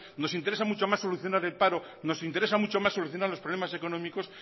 nos interesa más solucionar el paro nos interesa mucho más solucionar los problemas económicos